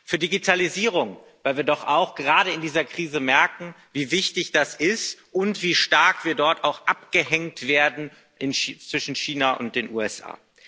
für Digitalisierung, weil wir doch auch gerade in dieser Krise merken, wie wichtig das ist und wie stark wir dort auch abgehängt werden gegenüber China und den USA.